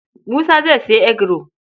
Musa zai sayi eguro.